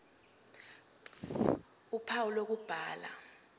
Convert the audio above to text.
ph uphawu lokubhala